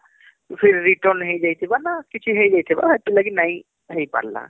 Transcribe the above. ଫିର return ହେଇଥିବା ନହେଲେ କିଛି ହେଇଯାଇଥିବାହେଥିଲାଗି ନାଇଁ ହେଇପରଲା